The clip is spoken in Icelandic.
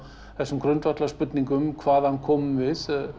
þessum grundvallarspurningum hvaðan komum við